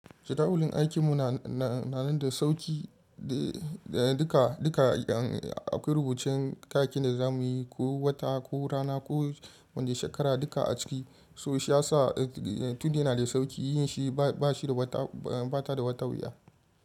Schedule aikin mu na nan da sauƙi duka an akwai rubuce kakin da za mu yi ko wata ko rana ko wanda shekara duka a ciki. So shi ya sa tuni yana da sauƙi, yin shi ba shi da wata, ba ta da wata wuya.